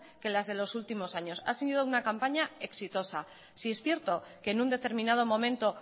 que las de los últimos años ha sido una campaña exitosa sí es cierto que en un determinado momento